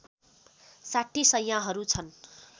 ६० शैयाहरू छन्